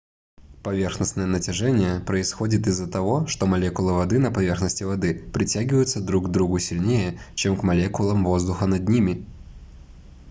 поверхностное натяжение происходит из-за того что молекулы воды на поверхности воды притягиваются друг к другу сильнее чем к молекулам воздуха над ними